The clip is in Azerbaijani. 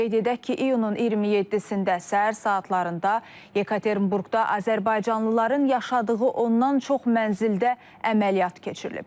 Qeyd edək ki, iyunun 27-də səhər saatlarında Yekaterinburqda azərbaycanlıların yaşadığı ondan çox mənzildə əməliyyat keçirilib.